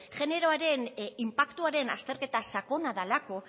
generoaren inpaktuaren azterketa sakona dalako